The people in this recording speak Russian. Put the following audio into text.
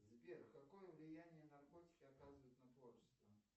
сбер какое влияние наркотики оказывают на творчество